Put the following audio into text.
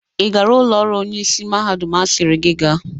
Ị gara ụlọ ọrụ onyeisi mahadum asiri gị ga?